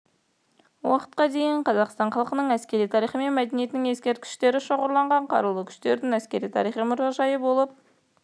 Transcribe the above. уақытқа дейінгі қазақстан халқының әскери тарихы мен мәдениетінің ескерткіштері шоғырланған қарулы күштердің әскери-тарихи мұражайы болып